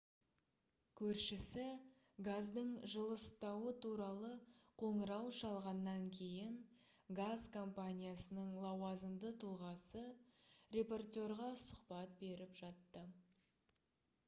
көршісі газдың жылыстауы туралы қоңырау шалғаннан кейін газ компаниясының лауазымды тұлғасы репортерға сұхбат беріп жатты